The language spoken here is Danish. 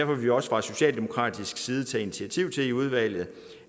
vil vi også fra socialdemokratisk side tage initiativ til i udvalget